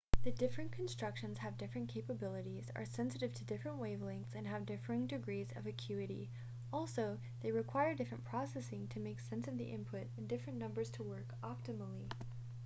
the different constructions have different capabilities are sensitive to different wave-lengths and have differing degrees of acuity also they require different processing to make sense of the input and different numbers to work optimally